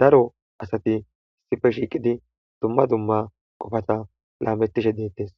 daro asati issife shiiqidi dumma dumma qofata laamettishe deettees